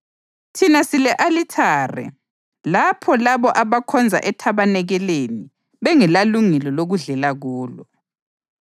Thina sile-alithare lapho labo abakhonza ethabanikeleni bengelalungelo lokudlela kulo.